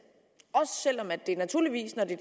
også selv om det naturligvis når det